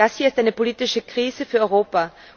Das hier ist eine politische Krise für Europa.